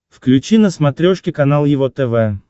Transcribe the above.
включи на смотрешке канал его тв